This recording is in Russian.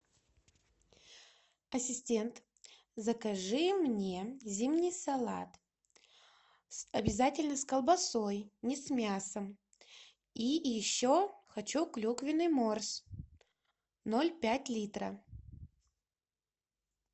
ассистент закажи мне зимний салат обязательно с колбасой не с мясом и еще хочу клюквенный морс ноль пять литра